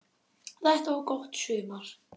Þetta var gott sumar.